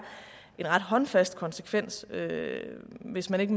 en ret håndfast konsekvens hvis man ikke